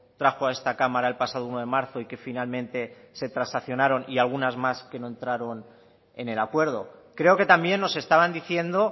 trajo a esta cámara el pasado uno de marzo y que finalmente se transaccionaron y algunas más que no entraron en el acuerdo creo que también nos estaban diciendo